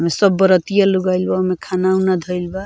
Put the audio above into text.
इ सब बरतिया लोग आइल बा ओमे खाना उना धइल बा।